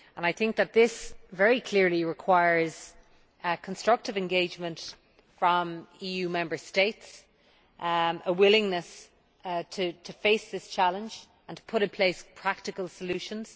I think this very clearly requires constructive engagement from EU Member States a willingness to face this challenge and put in place practical solutions.